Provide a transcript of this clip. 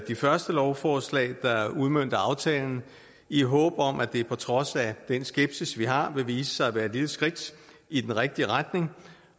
de første lovforslag der udmønter aftalen i håb om at det på trods af den skepsis vi har vil vise sig at være et lille skridt i den rigtige retning